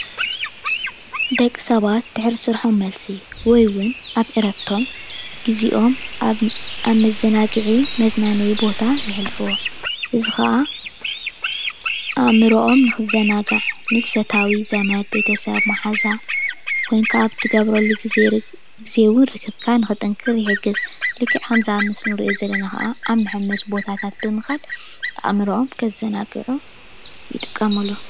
ደቂ ሰባት ድሕሪ ስርሖም መልሲ ወይ እውን ኣብ ዕረፍቶም ግዚኦም ኣብ መዘናግዒ መዝናነይ ቦታ የሕልፍዎ፡፡ እዚ ከዓ ኣእምርኦም ንክዘናጋዕ ምስ ፈታዊ፣ ዘመድ፣ ቤተሰብ ፣ማሓዛ ኰይንካ ኣብ እትገብረሉ ግዜ ርክብካ ክጥንክር ይሕግዝ፡፡ ልክዕ ኣብዚ ምስሊ እንሪኦ ዘለና ከዓ ኣብ መሐመሲ ቦታታት ብምካድ ኣእምርኦም ከዘናግዕሉ ይጥቀምሉ፡፡